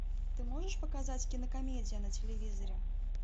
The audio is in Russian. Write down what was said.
ты можешь показать кинокомедия на телевизоре